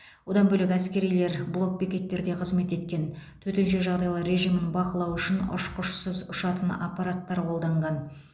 одан бөлек әскерилер блокбекеттерде қызмет еткен төтенше жағдайлар режимін бақылау үшін ұшқышсыз ұшатын аппараттар қолданған